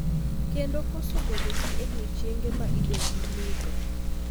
kendo koso bedo gi odiechienge ma idendi lite.